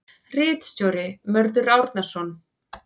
Ritstjóri: Mörður Árnason.